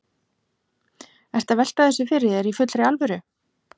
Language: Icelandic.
Ertu að velta þessu fyrir þér í fullri alvöru?